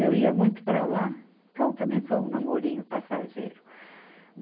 Eu ia muito para lá, então também foi um namorinho passageiro.